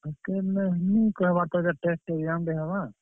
Hostel ରେ ନିଁ କହେବାର୍ ତାଲି ଇଟା test exam ଟେ ହେବା।